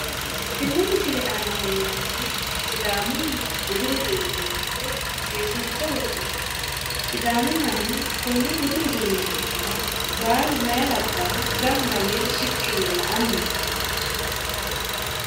Tenne misile aana leellannohu sidaamunniha budu uduunne loonse seesiinse worroonni sidaamu manni konne budu uduunne hidhara baalu meya labbaahu gamba woyi shiqqi yee la'anni no